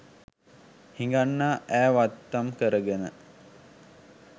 හිඟන්නා ඈ වත්තම් කරගෙන